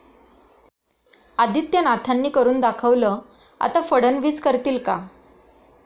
आदित्यनाथांनी 'करून दाखवलं', आता फडणवीस करतील का?